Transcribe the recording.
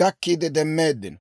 gakkiide demmeeddino.